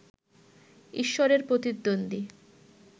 ঈশ্বরের প্রতিদ্বন্দ্বী